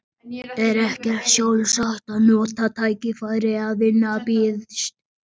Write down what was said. Er ekki sjálfsagt að nota tækifærið ef vinna býðst?